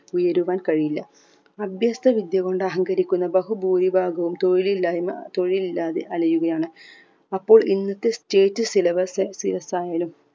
തുടരുവാൻ കഴിയില്ല അഭ്യസ്തവിദ്യ കൊണ്ട് അഹങ്കരിക്കുന്ന ബഹു പൂരിഭാഗവും തൊഴിൽ ഇല്ലായ്മ തൊഴിൽ ഇല്ലാതെ അലയുകയാണ് അപ്പോൾ ഇന്നത്തെ state syllabus fees ആയാലും ഉയരുവാൻ കഴിയില്ല